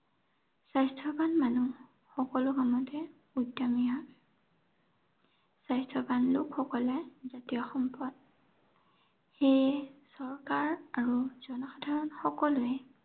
স্বাস্থ্যৱান মানুহ সকলো সময়তে উদ্যমী হয়। স্বাস্থ্যৱান লোকসকলে জাতীয় সম্পদ। সেইয়ে চৰকাৰ আৰু জনসাধৰণ সকলোৱে